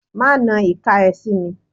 Máanan ìka ẹ sí mi.